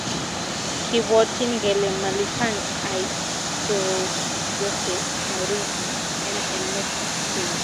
kibwotin kele malipan aisurut Jose Mourinho en emet ap spain.